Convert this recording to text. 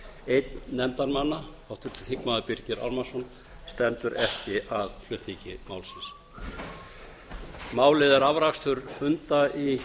einn nefndarmanna háttvirtur þingmaður birgir ármannsson stendur ekki að flutningi málsins málið er afrakstur funda í